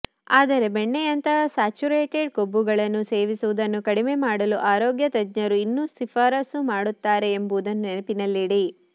ಆದರೆ ಬೆಣ್ಣೆಯಂತಹ ಸ್ಯಾಚುರೇಟೆಡ್ ಕೊಬ್ಬುಗಳನ್ನು ಸೇವಿಸುವುದನ್ನು ಕಡಿಮೆ ಮಾಡಲು ಆರೋಗ್ಯ ತಜ್ಞರು ಇನ್ನೂ ಶಿಫಾರಸು ಮಾಡುತ್ತಾರೆ ಎಂಬುದನ್ನು ನೆನಪಿನಲ್ಲಿಡಿ